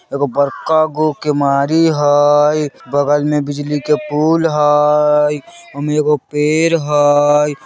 एगो बड़का गो केवाड़ी हई बगल में बिजली के पूल हई ओय में एगो पेड़ हई।